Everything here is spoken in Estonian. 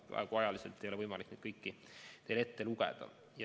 Praegu ei ole mul ajaliselt võimalik neid kõiki teile ette lugeda.